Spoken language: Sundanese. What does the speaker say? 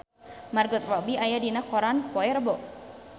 Margot Robbie aya dina koran poe Rebo